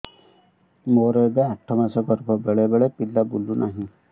ମୋର ଏବେ ଆଠ ମାସ ଗର୍ଭ ବେଳେ ବେଳେ ପିଲା ବୁଲୁ ନାହିଁ